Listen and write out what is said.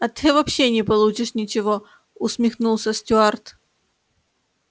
а ты вообще не получишь ничего усмехнулся стюарт